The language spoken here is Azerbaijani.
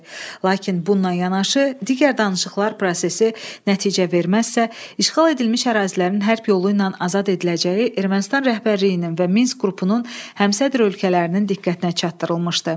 Lakin bununla yanaşı, digər danışıqlar prosesi nəticə verməzsə, işğal edilmiş ərazilərin hərb yolu ilə azad ediləcəyi Ermənistan rəhbərliyinin və Minsk qrupunun həmsədr ölkələrinin diqqətinə çatdırılmışdı.